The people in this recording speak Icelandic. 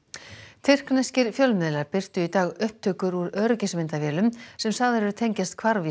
tyrkneskir fjölmiðlar birtu í dag upptökur úr öryggismyndavélum sem sagðar eru tengjast hvarfi